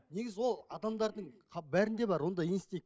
негізі ол адамдардың бәрінде бар ондай инстинк